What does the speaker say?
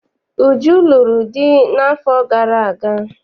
Uju lụrụ di n'afọ gara aga.